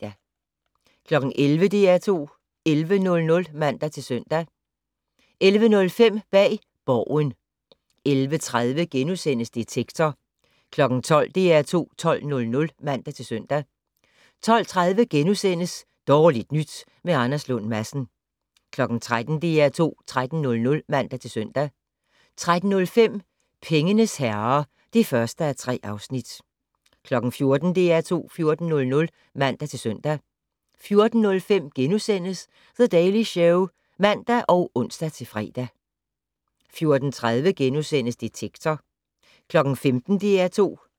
11:00: DR2 11:00 (man-søn) 11:05: Bag Borgen 11:30: Detektor * 12:00: DR2 12:00 (man-søn) 12:30: Dårligt nyt med Anders Lund Madsen * 13:00: DR2 13:00 (man-søn) 13:05: Pengenes herrer (1:3) 14:00: DR2 14:00 (man-søn) 14:05: The Daily Show *(man og ons-fre) 14:30: Detektor *